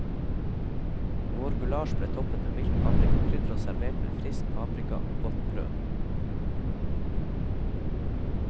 Vår gulasj ble toppet med mildt paprikakrydder og servert med frisk paprika og godt brød.